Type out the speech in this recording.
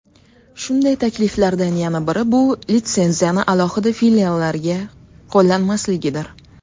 Shunday takliflardan yana biri bu litsenziyani alohida filiallarga qo‘llanmasligidir.